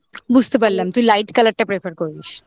বুঝতে পারলাম তুই light colour টা prefer করিস